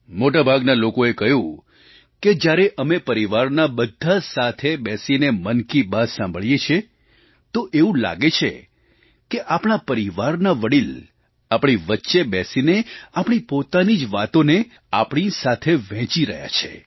મોટા ભાગના લોકોએ કહ્યું કે જ્યારે અમે પરિવારનાં બધાં સાથે બેસીને મન કી બાત સાંભળીએ છીએ તો એવું લાગે છે કે આપણા પરિવારના વડીલ આપણી વચ્ચે બેસીને આપણી પોતાની જ વાતોને આપણી સાથે વહેંચી રહ્યા છે